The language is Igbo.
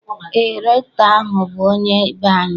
Eé, rektọ ahụ bụ onye be anyị.